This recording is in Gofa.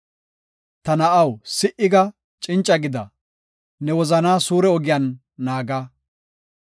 Ta na7aw, si7a; cinca gida; ne wozanaa suure ogiyan naaga.